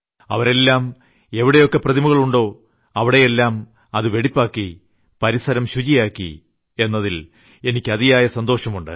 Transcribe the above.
അവരെല്ലാം എവിടെയൊക്കെ പ്രതിമകൾ ഉണ്ടോ അവിടെയെല്ലാം അത് വെടിപ്പാക്കി പരിസരം ശുചിയാക്കി എന്നതിൽ എനിയ്ക്ക് അതിയായ സന്തോഷം ഉണ്ട്